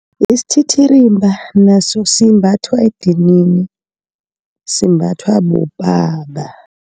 Isititirimba naso, simbathwa edinini simbathwa bobaba.